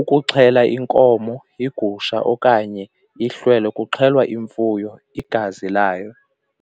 ukuxhela inkomo, igusha okanye ihlelwa kuxhelwa imfuyo igazi layo.